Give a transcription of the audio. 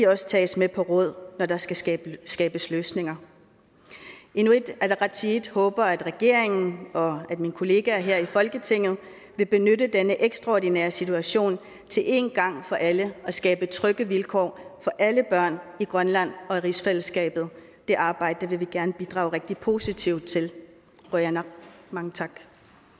også tages med på råd når der skal skabes skabes løsninger inuit ataqatigiit håber at regeringen og mine kollegaer her i folketinget vil benytte denne ekstraordinære situation til én gang for alle at skabe trygge vilkår for alle børn i grønland og i rigsfællesskabet det arbejde vil vi gerne bidrage rigtig positivt til qujanaq mange tak